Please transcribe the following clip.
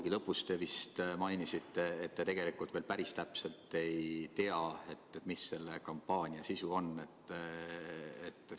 Ja lõpus te nagu mainisite, et te tegelikult veel päris täpselt ei tea, mis selle kampaania sisu on.